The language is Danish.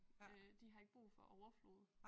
Øh de har ikke brug for overflod